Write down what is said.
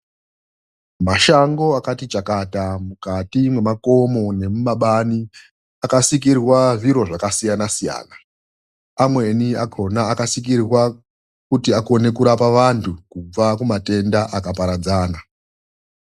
Mashango akati chakata mukati mwemakomo nemumabani akasikirwa zviro zvakasiyana siyana. Amweni akhona akasikirwa kuti akone kurapa vantu kubva kumatenda akaparadzana.